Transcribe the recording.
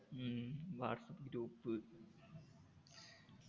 ഉം WhatsApp group